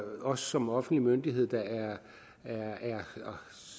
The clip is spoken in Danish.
os som offentlig myndighed der